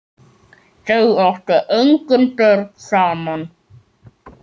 Þau áttu engin börn saman.